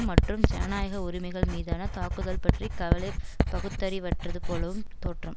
மற்றும் ஜனநாயக உரிமைகள் மீதான தாக்குதல் பற்றி கவலை பகுத்தறிவற்றது போலவும் தோற்றம்